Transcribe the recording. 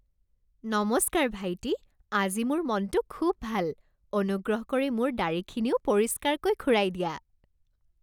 নমস্কাৰ ভাইটি। আজি মোৰ মনটো খুব ভাল। অনুগ্ৰহ কৰি মোৰ দাঢ়িখিনিও পৰিষ্কাৰকৈ খুৰাই দিয়া।